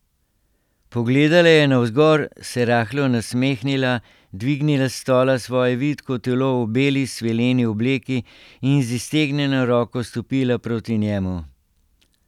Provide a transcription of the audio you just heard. Pogledala je navzgor, se rahlo nasmehnila, dvignila s stola svoje vitko telo v beli svileni obleki in z iztegnjeno roko stopila proti njemu.